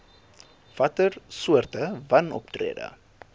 watter soorte wanoptrede